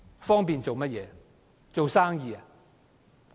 方便做生意？